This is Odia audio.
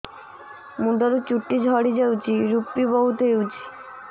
ମୁଣ୍ଡରୁ ଚୁଟି ଝଡି ଯାଉଛି ଋପି ବହୁତ ହେଉଛି